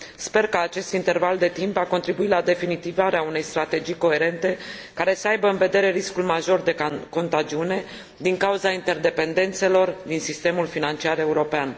Sper că acest interval de timp va contribui la definitivarea unei strategii coerente, care să aibă în vedere riscul major de contagiune din cauza interdependențelor din sistemul financiar european.